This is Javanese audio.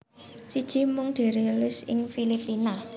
Siji Mung dirilis ing Filipina